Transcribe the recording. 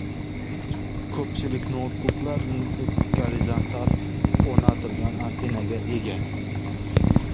Ko‘pchilik noutbuklar gorizontal o‘rnatilgan antennaga ega.